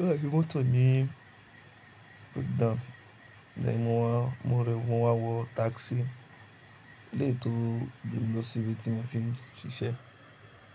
óò hẹ mọ́tò mi breakdown. Lẹ́yìn mo wá, mo rẹwà wọ tákísì lé ètò bí mo ṣe rí tí mo fi ń ṣiṣẹ́.